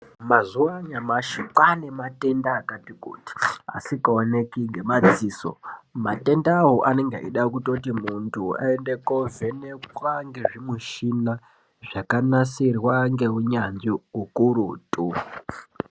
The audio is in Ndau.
Mazuwa anyamashi kwanematenda akati kuti asikaoneki ngemadziso. Matendawo anenge eida kutoti muntu aende kovhenekwa ngezvimuchina zvakanasirwa ngeunyanzvi ukurutu.